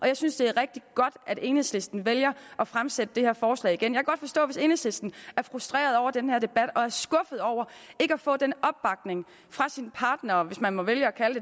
jeg synes det er rigtig godt at enhedslisten vælger at fremsætte det her forslag igen jeg kan godt forstå hvis enhedslisten er frustreret over den her debat og er skuffet over ikke at få den opbakning fra sine partnere hvis man må vælge at kalde